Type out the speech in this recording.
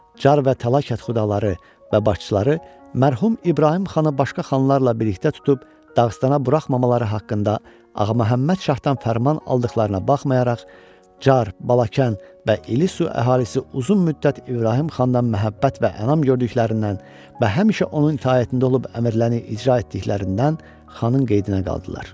Çar və Tala kətxudaları və başçıları mərhum İbrahim xanı başqa xanlarla birlikdə tutub Dağıstana buraxmamaları haqqında Ağa Məhəmməd Şahdan fərman aldıqlarına baxmayaraq Çar, Balakən və İllisu əhalisi uzun müddət İbrahim xandan məhəbbət və ənam gördüklərindən və həmişə onun itaətində olub əmrləri icra etdiklərindən xanın qeydinə qaldılar.